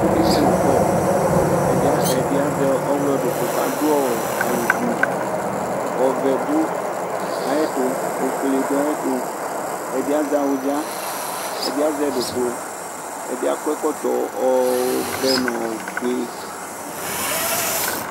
Akekele ʋkɔ Ɛdí azɛ ɔwlɔ ɖʋklu kʋ aɖu awu gblu, ɔvɛ ɖu ayʋ ɛtu, ɔfʋele ɖu ayʋ ɛtu Ɛɖì azɛ awʋdza Ɛdí azɛ ɖʋklu Ɛdí akɔ ɛkɔtɔ ɔvɛ ŋu ɔfʋe